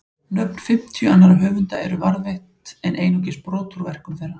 Nöfn fimmtíu annarra höfunda eru varðveitt en einungis brot úr verkum þeirra.